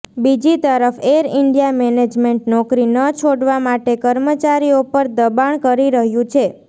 બીજી તરફ Air India management નોકરી ન છોડવા માટે કર્મચારીઓ પર દબાણ કરી રહ્યું છે